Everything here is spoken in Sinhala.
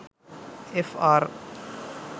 එෆ්.ආර්.